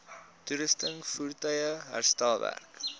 toerusting voertuie herstelwerk